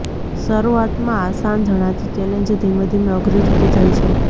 શરૂઆતમાં આસાન જણાતી ચેલેન્જ ધીમે ધીમે અઘરી થતી જાય છે